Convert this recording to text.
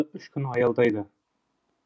үш күн аялдайды